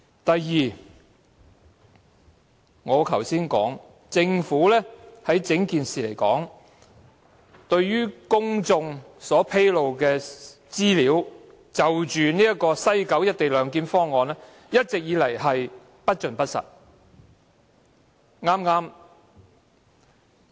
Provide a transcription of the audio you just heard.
第二，我剛才已提出，政府就整件事情向公眾披露的有關西九龍站"一地兩檢"方案的資料，一直均是不盡不實。